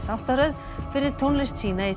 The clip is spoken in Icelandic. þáttaröð fyrir tónlist sína í